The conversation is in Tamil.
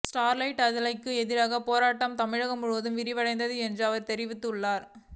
ஸ்டெர்லைட் ஆலைக்கு எதிரான போராட்டம் தமிழகம் முழுவதும் விரிவடையும் என்று அவர் தெரிவித்துள்ளார்